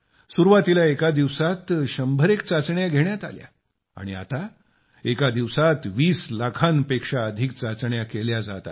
सुरुवातीला एका दिवसात शंभरएक चाचण्या घेण्यात आल्या आता एका दिवसात २० लाखाहून अधिक चाचण्या घेतल्या जात आहेत